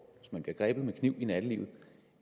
hvis man bliver grebet med kniv i nattelivet